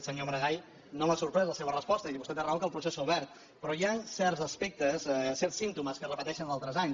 senyor maragall no m’ha sorprès la seva resposta i vostè té raó que el procés s’ha obert però hi han certs aspectes certs símptomes que es repeteixen d’altres anys